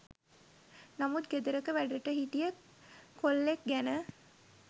නමුත් ගෙදරක වැඩට හිටිය කොල්ලෙක් ගැන